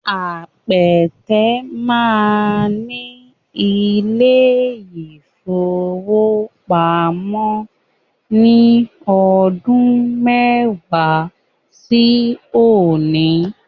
Apẹtẹ máa ní ilé-ìfowópamọ́ ní ọdún mẹ́wàá sí òní